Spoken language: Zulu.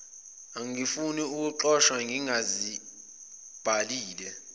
angifuni ukuxoshwa ngingazibhalile